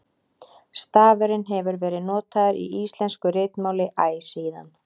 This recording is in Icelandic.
stafurinn hefur verið notaður í íslensku ritmáli æ síðan